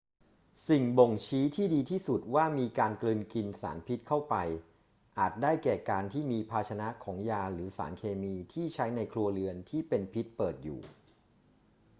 สิ่งบ่งชี้ที่ดีที่สุดว่ามีการกลืนกินสารพิษเข้าไปอาจได้แก่การที่มีภาชนะของยาหรือสารเคมีที่ใช้ในครัวเรือนที่เป็นพิษเปิดอยู่